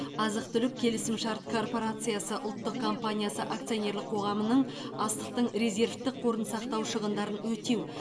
азық түлік келісімшарт корпорациясы ұлттық компаниясы акционерлік қоғамының астықтың резервтік қорын сақтау шығындарын өтеу